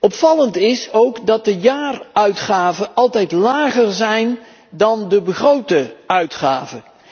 Opvallend is ook dat de jaaruitgaven altijd lager zijn dan de begrote uitgaven.